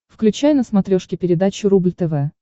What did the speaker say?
включай на смотрешке передачу рубль тв